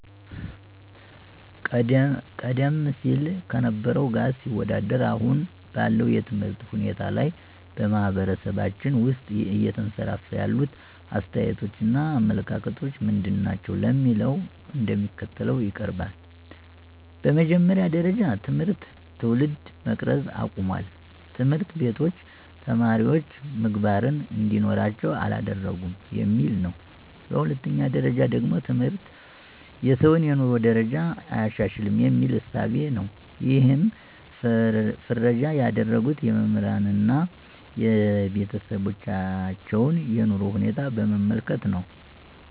ቀደም ሲል ከነበረው ጋር ሲወዳደር አሁን ባለው የትምህርት ሁናቴ ላይ በማህበረሰባችን ውስጥ እየተንሰራፋ ያሉት አስተያየቶች እና አመለካከቶች ምንድናቸው ለሚለው እንደሚከተለው ይቀርባል፦ በመጀመሪያ ጀረጃ ትምህርት ትውልድ መቅረጽ አቁሟል፣ ትምህርቶች ቤቶች ተማሪወች ምግባርን እንዲኖራቸው አላደረገም የሚል ነው። በሁለተኛ ደረጃ ደግሞ ትምህርት የሰውን የኑሮ ደረጃ አያሻሽልም የሚል እሳቤ ነው ይሕንም ፍረጃ ያደረጉት የመምህራንን አና የቤተሰባቸውን የኑሮ ሁኔታ በመመልከት ነው።